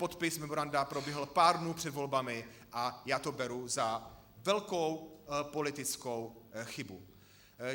Podpis memoranda proběhl pár dnů před volbami a já to beru za velkou politickou chybu.